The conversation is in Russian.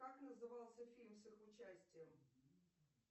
как назывался фильм с их участием